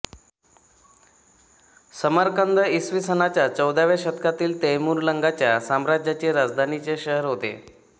समरकंद इ स च्या चौदाव्या शतकातील तैमूरलंगाच्या साम्राज्याचे राजधानीचे शहर होते